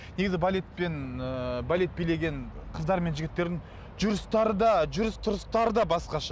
негізі балетпен ыыы балет билеген қыздар мен жігіттердің жүрістері де жүріс тұрыстары да басқаша